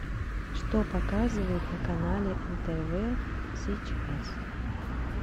что показывают на канале нтв сейчас